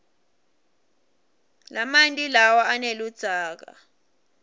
lamanti lawa aneludzaka